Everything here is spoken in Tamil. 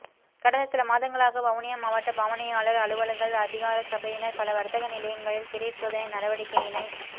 கடந்த சில மாதங்களாக வவுனியா மாவட்ட பாவனையாளர் அலுவல்கள் அதிகார சபையினர் பல வர்த்தக நிலையங்களில் திடீர் சோதனை நடவடிக்கையினை